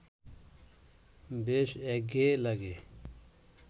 বেশ একঘেঁয়ে লাগে